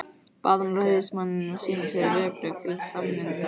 Bað hann ræðismanninn að sýna sér vegabréf til sannindamerkis.